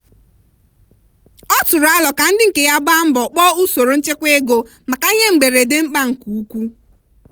ọ tụrụ arọ ka ndị nke ya gbaa mbo kpọọ usoro nchekwa ego maka ihe mberede mkpa nke nke ukwuu.